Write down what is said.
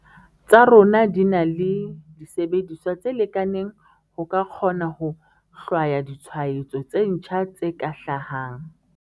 tsa rona di na le disebediswa tse lekaneng ho ka kgona ho hlwaya ditshwaetso tse ntjha tse ka hlahang.